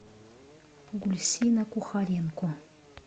гульсина кухаренко